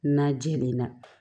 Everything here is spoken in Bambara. Na jɛlen na